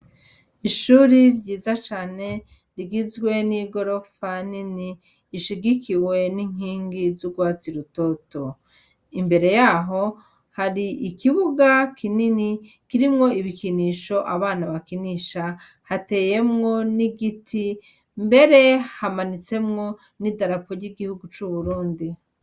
Ishure ryiza cane rigizwe n'igorofa nini ishigikiwe n'inkingi z'urwatsi rutoto. Imbere yaho hari ikibuga kinini kirimwo ibikinisho abana bakinisha, hateyemwo n'igiti, mbere hamanitsemwo n'idarapo ry'igihugu c'Uburundi.